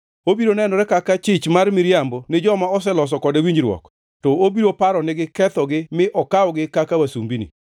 Obiro nenore kaka chich mar miriambo ni joma oseloso kode winjruok, to obiro paronigi kethogi mi okawgi kaka wasumbini.